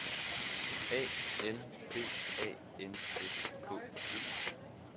A L B A N S K E